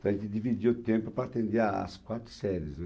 Então a gente dividia o tempo para atender a as quatro séries, né?